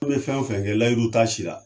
An bɛ fɛn o fɛn kɛ layiru t'a si la.